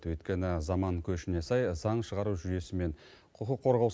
өйткені заман көшіне сай заң шығару жүйесі мен құқық қорғау